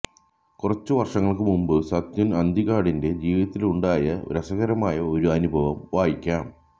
കുറച്ചു വര്ഷങ്ങള്ക്ക് മുന്പ് സത്യന് അന്തികാടിന്റെ ജീവിതത്തിലുണ്ടായ രസകരമായ ഒരു അനുഭവം വായിക്കാം